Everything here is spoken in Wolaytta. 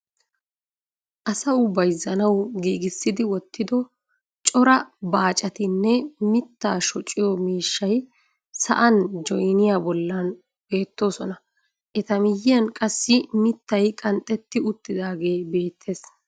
Asawu bayzzanawu giigissi wottido cora baaccatinne mitaa shocciyo miishshay sa'an joynniya bolan beetoosona. eta miyiyan qassi mitay qanxxetti utaagee beetees.